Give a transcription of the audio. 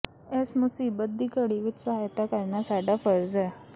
ਇਸ ਮੁਸੀਬਤ ਦੀ ਘੜੀ ਵਿਚ ਸਹਾਇਤਾ ਕਰਨਾ ਸਾਡਾ ਫ਼ਰਜ਼ ਹੈ